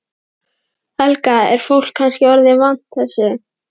Helga: Er fólk kannski orðið vant þessu?